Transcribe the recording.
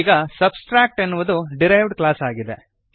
ಈಗ ಸಬ್ಟ್ರಾಕ್ಟ್ ಎನ್ನುವುದು derived class ಆಗಿದೆ